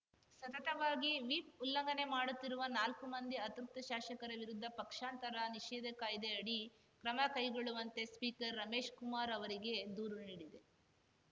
ಸತತವಾಗಿ ವಿಪ್‌ ಉಲ್ಲಂಘನೆ ಮಾಡುತ್ತಿರುವ ನಾಲ್ಕು ಮಂದಿ ಅತೃಪ್ತ ಶಾಸಕರ ವಿರುದ್ಧ ಪಕ್ಷಾಂತರ ನಿಷೇಧ ಕಾಯ್ದೆ ಅಡಿ ಕ್ರಮ ಕೈಗೊಳ್ಳುವಂತೆ ಸ್ಪೀಕರ್‌ ರಮೇಶ್‌ ಕುಮಾರ್‌ ಅವರಿಗೆ ದೂರು ನೀಡಿದೆ